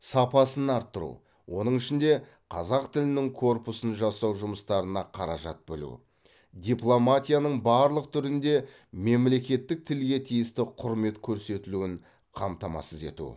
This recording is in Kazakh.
сапасын арттыру оның ішінде қазақ тілінің корпусын жасау жұмыстарына қаражат бөлу дипломатияның барлық түрінде мемлекеттік тілге тиісті құрмет көрсетілуін қамтамасыз ету